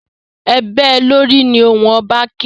E bée lórì! Ni ohùn oba ké!